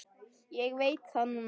Ég veit það núna.